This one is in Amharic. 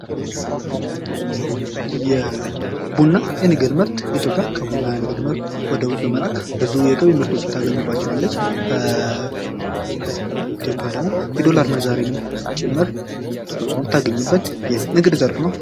የቡና የንግድ ምርት ኢትዮጵያ ከቡና ንግድ ምርት ወደ ውጭ በመላክ ብዙ የገቢ ምርቶችን ታገኝባቸዋለች። ከኢትዮጵያ ደግሞ የዶላር ምንዛሬ ጭምር የምታገኝበት የንግድ ዘርፍ ነው።